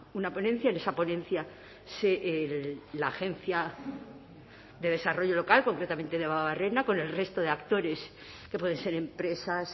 una ponencia en esa ponencia la agencia de desarrollo local concretamente debabarrena con el resto de actores que pueden ser empresas